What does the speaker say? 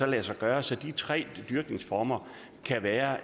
lade sig gøre så de tre dyrkningsformer kan være